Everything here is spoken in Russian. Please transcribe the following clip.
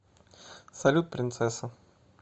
салют принцесса